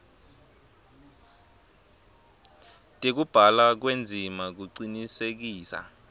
tekubhalwa kwendzima kucinisekisa